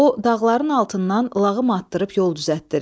O, dağların altından lağım atdırıb yol düzəltdirir.